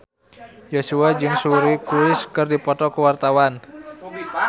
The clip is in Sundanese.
Joshua jeung Suri Cruise keur dipoto ku wartawan